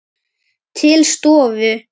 Til stofu.